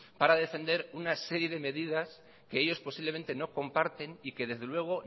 para defender una serie de medidas que ellos posiblemente no comparten y que desde luego